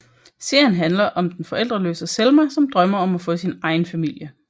Serien handler om den forældreløse Selma som drømmer om at få sin egen familie